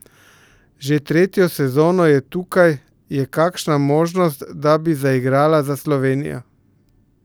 Že tretjo sezono je tukaj, je kakšna možnost, da bi zaigrala za Slovenijo?